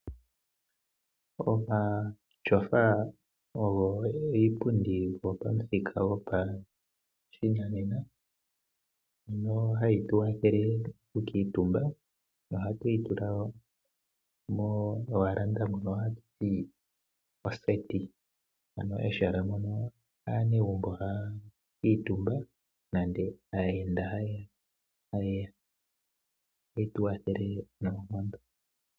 Omatyofa ogo iipundi yopamuthika gopashinanena, ngono hage tu wathele okukuuntumba, nohatu yi tula mewalanda mono hatu ithana oseti, ano ehala mono aanegumbo haya kuuntumba, nenge aayenda hayeya. Ohage tu wathele noonkondo.